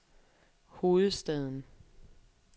hovedstaden